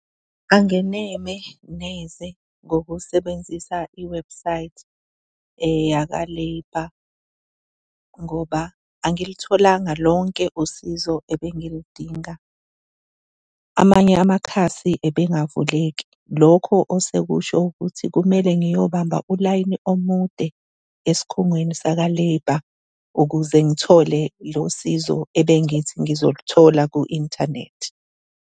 Angeneme neze ngokusebenzisa i-website yaka-labour ngoba angilitholanga lonke usizo ebengilidinga, amanye amakhasi ebengavuleki. Lokho osekusho ukuthi kumele ngiyobamba ulayini omude esikhungweni saka-labour ukuze ngithole lo sizo ebengithi ngizolithola ku-inthanethi.